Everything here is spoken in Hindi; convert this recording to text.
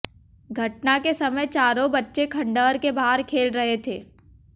घटना के समय चारों बच्चे खंडहर के बाहर खेल रहे थे